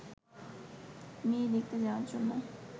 মেয়ে দেখতে যাওয়ার জন্য